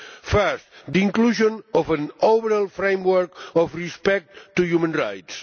First, the inclusion of an overall framework on respect for human rights.